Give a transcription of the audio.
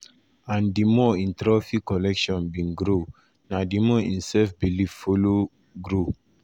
and di more im trophy collection bin grow na di more im self-belief follow follow grow.